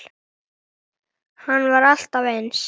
Hann var alltaf eins.